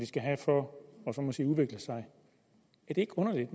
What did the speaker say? skal have for at udvikle sig er det ikke underligt